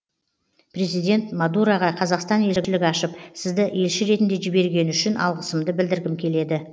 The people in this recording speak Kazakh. президент модураға қазақстан елшілік ашып сізді елші ретінде жібергені үшін алғысымды білдіргім келеді